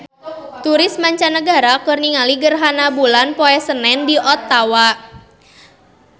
Turis mancanagara keur ningali gerhana bulan poe Senen di Ottawa